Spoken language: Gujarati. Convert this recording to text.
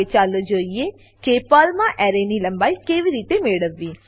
હવે ચાલો જોઈએ કે પર્લમાં એરેની લંબાઈ કેવી રીતે મેળવવી